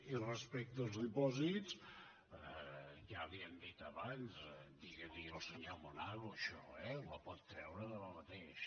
i respecte als dipòsits ja li ho hem dit abans diguili al senyor monago això eh la pot treure demà mateix